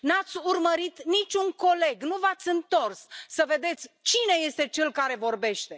Nu ați urmărit nici un coleg, nu v ați întors să vedeți cine este cel care vorbește.